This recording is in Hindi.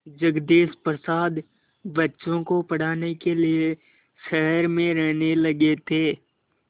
जगदीश प्रसाद बच्चों को पढ़ाने के लिए शहर में रहने लगे थे